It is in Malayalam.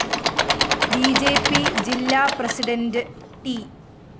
ബി ജെ പി ജില്ലാ പ്രസിഡന്റ് ട്‌